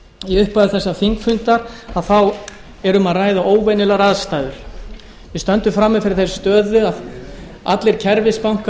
í upphafi þessa þingfundar þá er um að ræða óvenjulegar aðstæður við stöndum frammi fyrir þeirri stöðu að allir